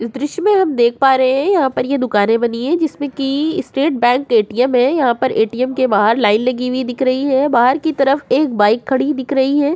इस दृश्य में हम देख पा रहे हैं यहाँ पर ये दुकाने बनी हैं जिसमे की स्टेट बैंक ए.टी.एम. है। यहाँ पर ए.टी.एम. के बाहर लाइन लगी हुई दिख रही है। बाहर की तरफ एक बाइक खड़ी दिख रही है।